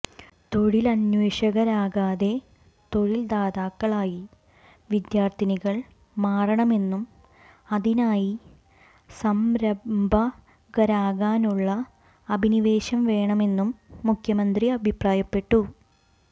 തൊഴിലന്വേഷകരാകാതെ തൊഴിൽദാതാക്കളായി വിദ്യാർഥികൾ മാറണമെന്നും അതിനായി സംരംഭകരാകാനുള്ള അഭിനിവേശം വേണമെന്നും മുഖ്യമന്ത്രി അഭിപ്രായപ്പെട്ടു